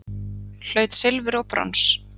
Hlaut silfur og brons